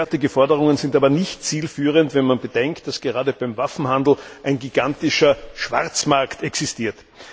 Derartige Forderungen sind aber nicht zielführend, wenn man bedenkt, dass gerade für den Waffenhandel ein gigantischer Schwarzmarkt existiert.